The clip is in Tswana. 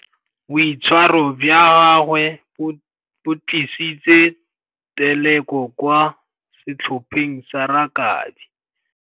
Boitshwarô jwa gagwe bo tlisitse têlêkô kwa setlhopheng sa rakabii.